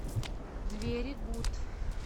двери гуд